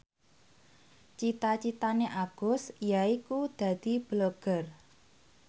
cita citane Agus yaiku dadi Blogger